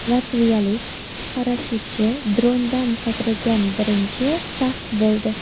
Latviyalik parashyutchi drondan sakragan birinchi shaxs bo‘ldi .